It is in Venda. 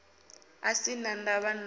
a sin a ndavha na